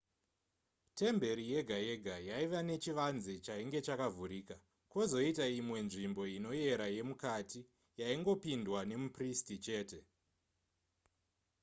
temberi yega yega yaiva nechivanze chainge chakavhurika kwozoita imwe nzvimbo inoyera yemukati yaingopindwa nemupristi chete